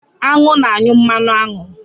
Aṅụ na-anyụ mmanụ aṅụ.